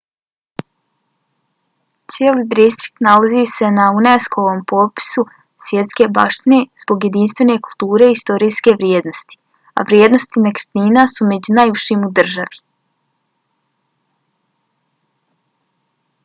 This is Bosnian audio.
cijeli distrikt nalazi se na unesco-ovom popisu svjetske baštine zbog jedinstvene kulturne i historijske vrijednosti a vrijednosti nekretnina su među najvišim u državi